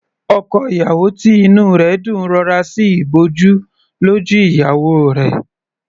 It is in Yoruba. Ọkọ ìyàwó tí inú rẹ̀ dùn rọra sí ìbòjú lójú ìyàwó rẹ̀.